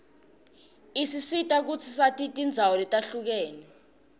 isisita kutsi sati tindzawo letihlukene